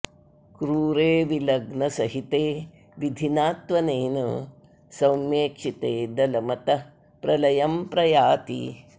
क्रूरे विलग्न सहिते विधिना त्वनेन सौम्येक्षिते दलम् अतः प्रलयं प्रयाति